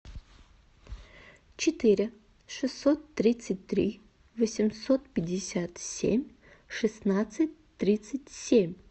четыре шестьсот тридцать три восемьсот пятьдесят семь шестнадцать тридцать семь